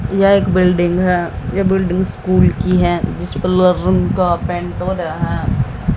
यह एक बिल्डिंग है। बिल्डिंग स्कूल की है रूम जिसे कलर का पेंट हो रहा है।